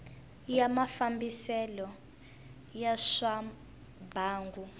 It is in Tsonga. ya mafambisele ya swa mbangu